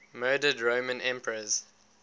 murdered roman emperors